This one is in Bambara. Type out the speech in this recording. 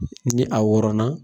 Ni a wɔrɔnna.